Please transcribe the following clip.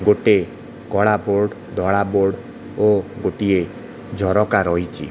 ଗୋଟେ କଳା ବୋର୍ଡ଼ ଧଳା ବୋର୍ଡ଼ ଓ ଗୋଟିଏ ଝରକା ରହିଚି ।